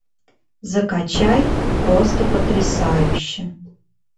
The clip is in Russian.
закачай просто потрясающе